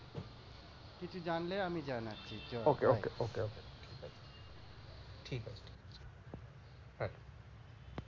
কিছু জানলে আমি জানাছি, okay okay okay okay.